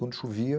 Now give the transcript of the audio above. Quando chovia...